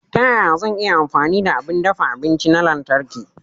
Ta yaya zan iya amfani da abin dafa abinci na lantarki?